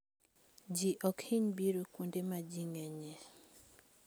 Ji ok hiny biro kuonde ma ji ng'enyie.